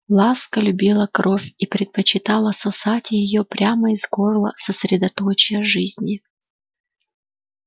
ласка любила кровь и предпочитала сосать её прямо из горла средоточия жизни